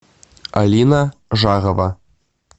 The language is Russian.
алина жарова